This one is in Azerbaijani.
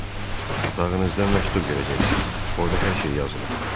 Otağınızda məktub görəcəksiz, orda hər şey yazılıb.